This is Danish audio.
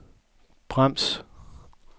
brems